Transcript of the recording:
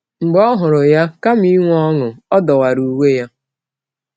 Mgbe ọ hụrụ ya, kama inwe ọṅụ, ọ dọwara uwe ya.